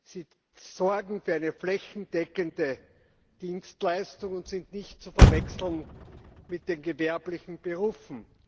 Sie sorgen für eine flächendeckende Dienstleistung und sind nicht zu verwechseln mit den gewerblichen Berufen.